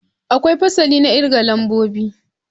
Akwai fasali na kirga lambobi.